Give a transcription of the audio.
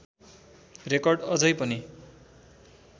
record अझै पनि